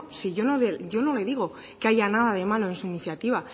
si yo no le digo que haya nada de malo en su iniciativa